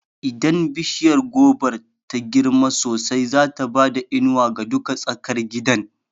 Idan bishiya gobar ta girma sosai, zata bada inuwa ga duka tsakar gidan